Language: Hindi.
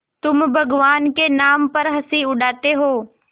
तुम भगवान के नाम पर हँसी उड़ाते हो